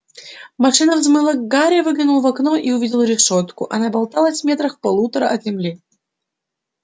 машина взмыла гарри выглянул в окно и увидел решётку она болталась метрах в полутора от земли